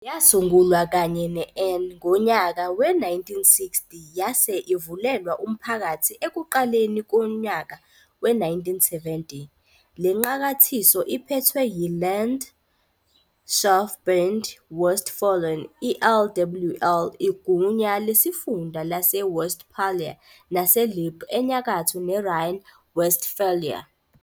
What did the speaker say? Yasungulwa, kanye neN, ngonyaka we-1960, yase ivulelwa umphakathi ekuqaleni kwonyaka we-1970. LeNqakathiso iphethwe yi-Landschaftsverband Westfalen-I-, LWL, igunya lesifunda laseWestphalia naseLippe eNyakatho ne-Rhine-Westphalia.